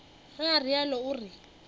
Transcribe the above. ge o realo o re